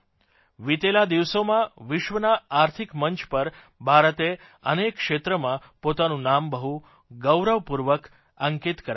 વિતેલા દિવસોમાં વિશ્વના આર્થિક મંચ પર ભારતે અનેક ક્ષેત્રમાં પોતાનું નામ બહુ ગૌરવપૂર્વક અંકિત કરાવ્યું છે